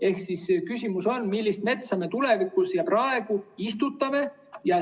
Ehk küsimus on, millist metsa me tulevikus ja praegu istutame.